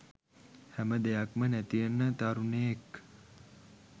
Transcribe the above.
හැම දෙයක්ම නැතිවෙන තරුණයෙක්